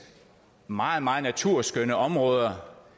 meget meget naturskønne områder